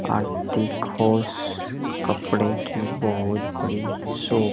कपड़े कि बहुत बड़ी शॉप --